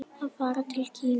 Að fara til Kína?